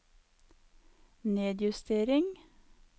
nedjustering